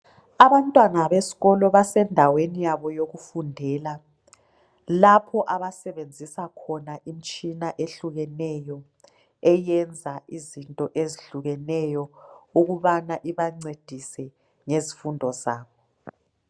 Abantwana besikolo basendaweni yabo yokufundela lapho abasebenzisa khona imitshina ehlukeneyo eyenza izinto ezihlukeneyo ukubana ibancedise ngezifundo zabo.